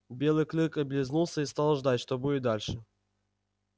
белый клык облизнулся и стал ждать что будет дальше